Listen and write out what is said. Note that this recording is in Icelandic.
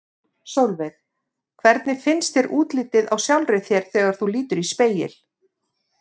Sólveig: Hvernig finnst þér útlitið á sjálfri þér þegar þú lítur í spegil?